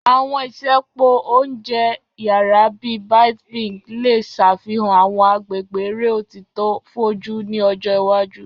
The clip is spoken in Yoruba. Àwọn isẹpo oúnjẹ yara, bii Byte Binge, le ṣafihan àwọn agbegbe ere otito foju ni ọjọ iwaju.